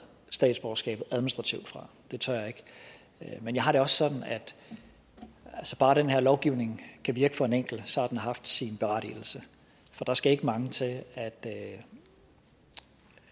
statsborgerskabet administrativt fra det tør jeg ikke men jeg har det også sådan at bare den her lovgivning kan virke for en enkelt har den haft sin berettigelse for der skal ikke mange til at